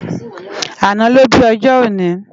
Àná ló bi òjò óni